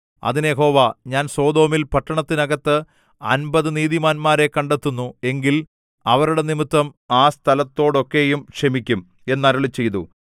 അതിന് യഹോവ ഞാൻ സൊദോമിൽ പട്ടണത്തിനകത്ത് അമ്പത് നീതിമാന്മാരെ കണ്ടെത്തുന്നു എങ്കിൽ അവരുടെ നിമിത്തം ആ സ്ഥലത്തോടൊക്കെയും ക്ഷമിക്കും എന്ന് അരുളിച്ചെയ്തു